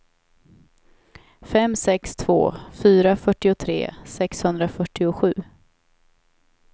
fem sex två fyra fyrtiotre sexhundrafyrtiosju